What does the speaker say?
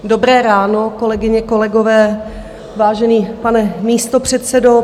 Dobré ráno, kolegyně, kolegové, vážený pane místopředsedo.